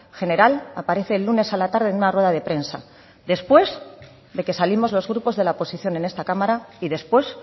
general aparece el lunes a la tarde en una rueda de prensa después de que salimos los grupos de la oposición en esta cámara y después